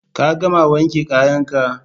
Ka gama wanke kayan ka?